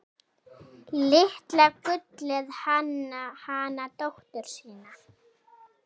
Litla gullið hana dóttur sína.